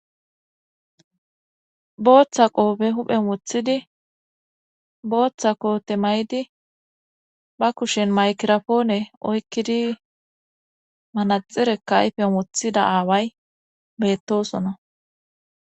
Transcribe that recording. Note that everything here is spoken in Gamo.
Booththa qoope huphe mothidi booththa qoo temay'di ba kushen maykirafoone oykkidi manaxirekkaayfe mothida aaway bettosona.